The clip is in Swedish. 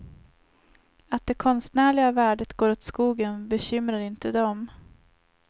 Att det konstnärliga värdet går åt skogen bekymrar inte dem.